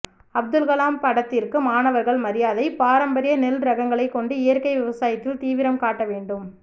அப்துல்கலாம் படத்திற்கு மாணவர்கள் மரியாதை பாரம்பரிய நெல் ரகங்களை கொண்டு இயற்கை விவசாயத்தில் தீவிரம் காட்ட வேண்டும்